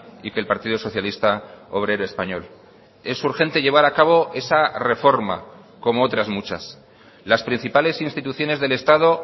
y que el partido socialista obrero español es urgente llevar acabo esa reforma como otras muchas las principales instituciones del estado